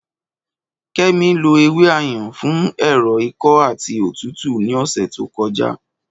Kẹ́mi lo ewé Ayan fún ẹ̀rọ̀ ikọ́ àti òtútù ní ọ̀sẹ̀ tó kọjá